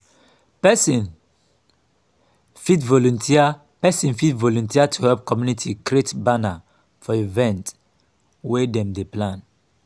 person fit volunteer person fit volunteer to help community create banner for event wey dem dey plan